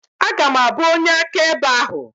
Aga m abụ onye akaebe ahụ.